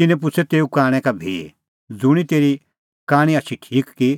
तिन्नैं पुछ़अ तेऊ कांणै का भी ज़ुंणी तेरी कांणी आछी ठीक की